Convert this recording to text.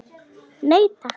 Nei, takk.